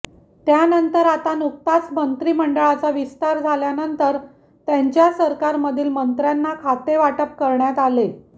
त्यानंतर आता नुकताच मंत्रीमंडळाचा विस्तार झाल्यानंतर त्यांच्या सरकारमधील मंत्र्यांना खातेवाटप करण्यात आले